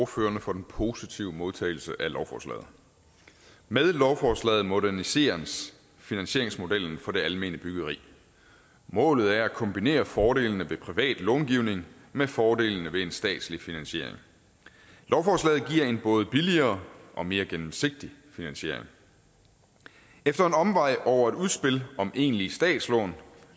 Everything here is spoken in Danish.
ordførerne for den positive modtagelse af lovforslaget med lovforslaget moderniseres finansieringsmodellen for det almene byggeri målet er at kombinere fordelene ved privat långivning med fordelene ved en statslig finansiering lovforslaget giver en både billigere og mere gennemsigtig finansiering efter en omvej over et udspil om egentlige statslån